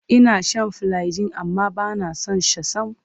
Ina shan filagil amma ba na son sa sam.